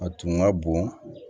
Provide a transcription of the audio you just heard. A tun ka bon